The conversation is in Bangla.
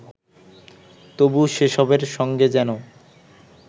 তবু সেসবের সঙ্গে যেন